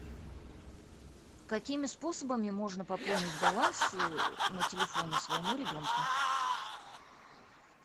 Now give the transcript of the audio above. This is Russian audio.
какими способами можно пополнить баланс на телефоне своему ребенку